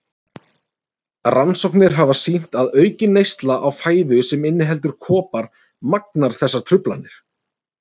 Rannsóknir hafa sýnt að aukin neysla á fæðu sem inniheldur kopar magnar þessar truflanir.